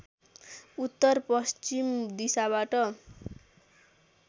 उत्तर पश्चिम दिशाबाट